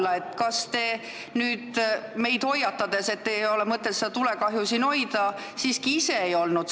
Kas te siiski ise ei olnud see sütitaja, ehkki te nüüd meid hoiatate, et ei ole mõtet seda tulekahju hoida?